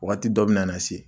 Wagati dɔ bɛ na na se